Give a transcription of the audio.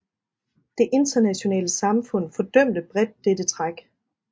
Det internationale samfund fordømte bredt dette træk